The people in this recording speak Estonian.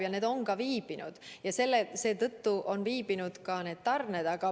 Ja partiid on ka viibinud, tarned on hilinenud.